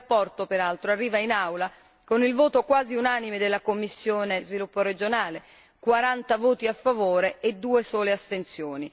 La relazione peraltro arriva in Aula con il voto quasi unanime della commissione per lo sviluppo regionale 40 voti a favore e 2 sole astensioni.